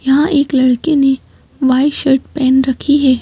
यहां एक लड़के ने व्हाइट शर्ट पहन रखी हैं।